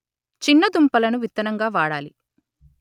చిన్న దుంపలను విత్తనంగా వాడాలి